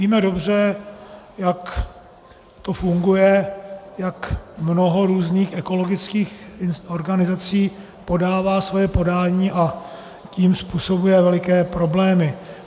Víme dobře, jak to funguje, jak mnoho různých ekologických organizací podává svoje podání, a tím způsobuje veliké problémy.